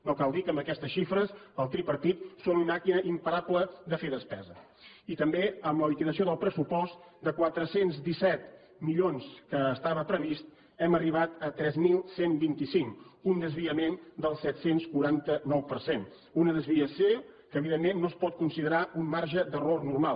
no cal dir que amb aquestes xifres el tripartit són una màquina imparable de fer despesa i també amb la liquidació del pressupost de quatre cents i disset milions que estava previst hem arribat a tres mil cent i vint cinc un desviament del set cents i quaranta nou per cent una desviació que evidentment no es pot considerar un marge d’error normal